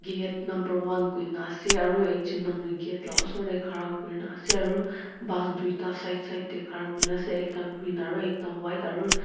gate number one koina ase aro ekjun manu gate la osor dae khara kurena ase aro bus duida side side dae khara kurena ase ekta green aro ekta white aro--